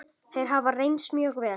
Þeir hafa reynst mjög vel.